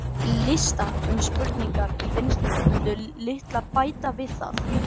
listar um spurningar í vinnslu mundu litlu bæta við það